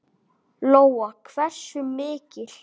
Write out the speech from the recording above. Lóa: Hversu mikil?